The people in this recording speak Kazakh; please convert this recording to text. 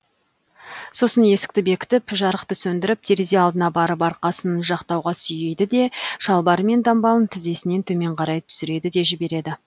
сосын есікті бекітіп жарықты сөндіріп терезе алдына барып арқасын жақтауға сүйейді де шалбары мен дамбалын тізесінен төмен қарай түсіреді де жібереді